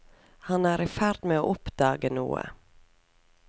Han er i ferd med å oppdage noe.